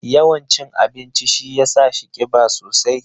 Yawan cin abincin shi ya sa shi kiba sosai.